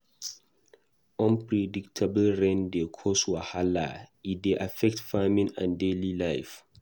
Unpredictable rain dey cause wahala; e dey affect farming and daily life.